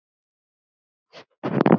Ég kann ekkert að leika.